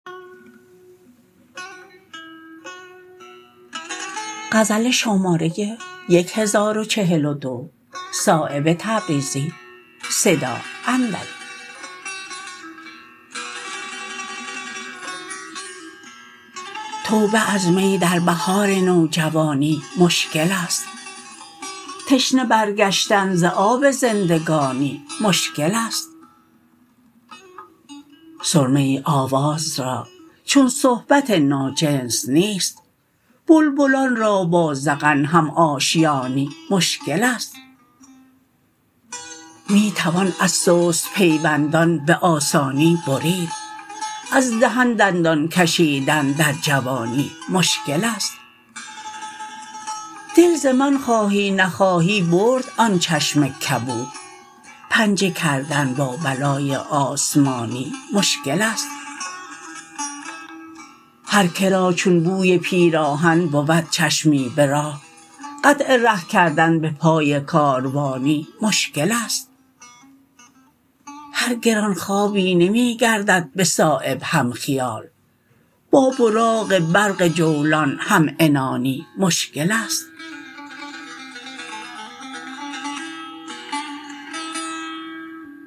توبه از می در بهار نوجوانی مشکل است تشنه بر گشتن ز آب زندگانی مشکل است سرمه ای آواز را چون صحبت ناجنس نیست بلبلان را با زغن هم آشیانی مشکل است می توان از سست پیوندان به آسانی برید از دهن دندان کشیدن در جوانی مشکل است دل ز من خواهی نخواهی برد آن چشم کبود پنجه کردن با بلای آسمانی مشکل است هر که را چون بوی پیراهن بود چشمی به راه قطع ره کردن به پای کاروانی مشکل است هر گرانخوابی نمی گردد به صایب هم خیال با براق برق جولان همعنانی مشکل است